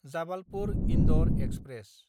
जाबालपुर–इन्दर express